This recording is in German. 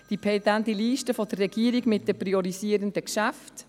die pendente Liste der Regierung mit den priorisierenden Geschäften;